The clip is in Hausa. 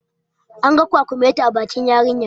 An ga kwakumeti a bakin yarinyar